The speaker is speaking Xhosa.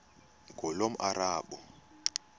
ngulomarabu